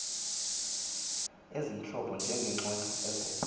ezimhlophe njengeengqweqw ezilele